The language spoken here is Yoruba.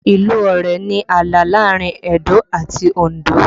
Ìlú Ọ̀rẹ̀ ni ààlà láàrin Edo àti Òndó